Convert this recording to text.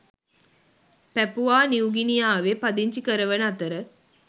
පැපුවා නිව්ගිනියාවේ පදිංචි කරවන අතර